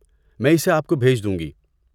میں اسے آپ کو بھیج دوں گی۔